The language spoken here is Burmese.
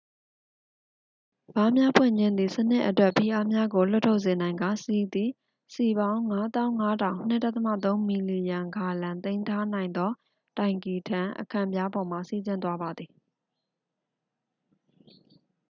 ဗားများဖွင့်ခြင်းသည် စနစ်အတွက် ဖိအားများကိုလွှတ်ထုတ်စေနိုင်ကာ ဆီသည် စည်ပေါင်း ၅၅၀၀၀ ၂.၃ မီလီယံဂါလံ သိမ်းထားနိုင်သောတိုင်ကီထံ အခံပြားပေါ်မှ စီးဆင်းသွားပါသည်။